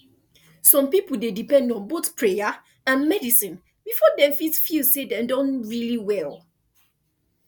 some people dey depend on both prayer and medicine before dem fit feel say dem don really well